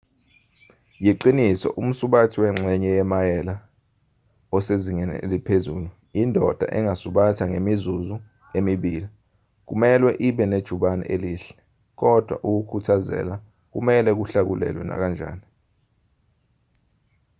yiqiniso umsubathi wengxenye yemayela osezingeni eliphezulu indoda engasubatha ngemizuzu emibili kumelwe ibe nejubane elihle kodwa ukukhuthazela kumelwe kuhlakulelwe nakanjani